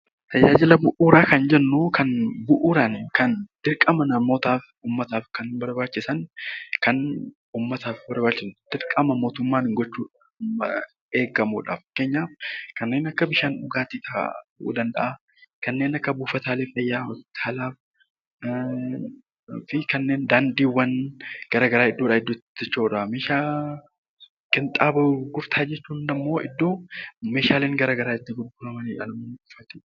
Tajaajila bu'uuraa kan jennu bu'uuraan dirqama namootaaf kan barbaachisan dirqama mootummaan gochuun eegamudha. Fakkeenyaaf kanneen akka bishaan dhugaatii fa'aa ta'uu danda'a. Kanneen akka buufataalee fayyaa, hospitaalaa, daandiiwwan garaagaraa gurgurtaa qinxaaboo jechuun immoo iddoo meeshaaleen garaagaraa itti gurguramanidha.